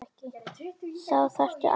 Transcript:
Þá þarftu alltaf leyfi.